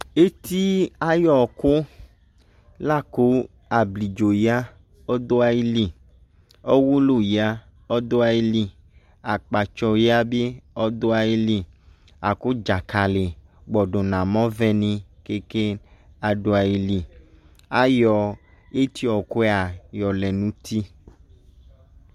Eti ayɔku la ko ablidzo ya ɔdo ayiyi, ɔwolu ya ɔdo ayiyi, akpatsɔ ya be ɔdo ayiyi, ako dzakale gbɔdo namɔvɛ meka ado ayiyi Ayɔ etiɔkua yɔlɛ no uti